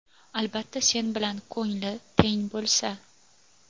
Albatta sen bilan ko‘ngli teng bo‘lsa.